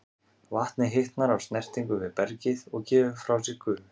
Vatnið hitnar af snertingu við bergið og gefur frá sér gufu.